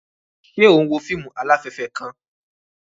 Ṣe o n wo fíìmù alafẹfẹ kàn?